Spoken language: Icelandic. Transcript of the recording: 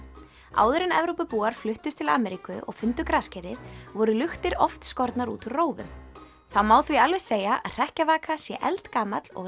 áður en Evrópubúar fluttust til Ameríku og fundu graskerið voru luktir oft skornar út úr rófum það má því alveg segja að hrekkjavaka sé eldgamall og